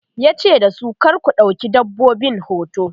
yace dasu "kar ku ɗauki dabbobin hoto!'